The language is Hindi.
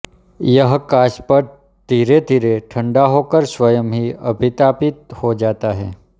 यह काच पट्ट धीरेधीरे ठंडा होकर स्वयं ही अभितापित हो जाता है